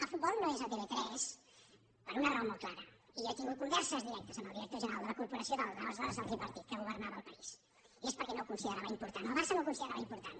el futbol no és a tv3 per una raó molt clara i jo he tingut converses directes amb el director general de la corporació de l’aleshores tripartit que governava el país i és perquè no ho considerava important al barça no el considerava important